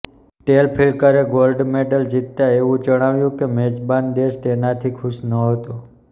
ટેલ ફ્લિકરે gold medal જીતતા એવું જણાયું કે મેજબાન દેશ તેનાથી ખુશ નહતો